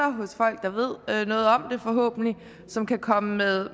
hos folk der ved noget om det forhåbentlig som kan komme med